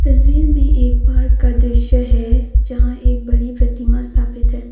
तस्वीर में एक पार्क का दृश्य है जहां एक बड़ी प्रतिमा स्थापित है।